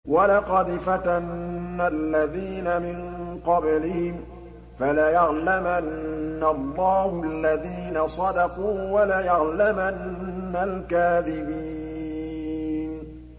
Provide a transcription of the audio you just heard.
وَلَقَدْ فَتَنَّا الَّذِينَ مِن قَبْلِهِمْ ۖ فَلَيَعْلَمَنَّ اللَّهُ الَّذِينَ صَدَقُوا وَلَيَعْلَمَنَّ الْكَاذِبِينَ